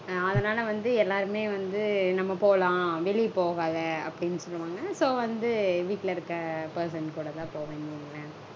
அதனால வந்து எல்லாருமே வந்து நம்ம போலாம் வெளிய போகாத அப்டீனு சொல்வாங்க. So வந்து வீட்ல இருக்க person கூடதா போவேன் வைங்களேன்